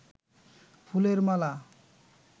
ফুলের মালা